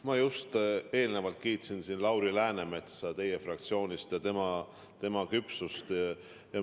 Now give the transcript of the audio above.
Ma just kiitsin siin Lauri Läänemetsa teie fraktsioonist, tema küpsust.